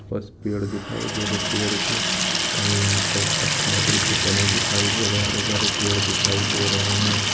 बस पेड़ दिखाई दे रहें पेड़ के लकड़ी के तने दिखाई दे रहें हरे -भरे पेड़ दिखाई दे रहें हैं।